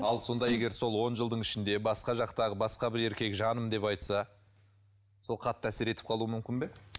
ал сонда егер сол он жылдың ішінде басқа жақтағы басқа бір еркек жаным деп айтса сол қатты әсер етіп қалуы мүмкін бе